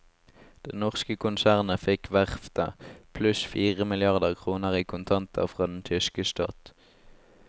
Det norske konsernet fikk verftet, pluss fire milliarder kroner i kontanter fra den tyske stat.